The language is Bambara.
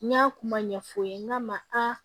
N y'a kuma ɲɛfɔ n k'a ma a